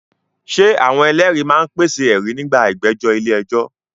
Ṣé àwọn ẹlẹ́rìí máa ń pèsè ẹ̀rí nígbà ìgbẹ́jọ́ ilé ẹjọ́?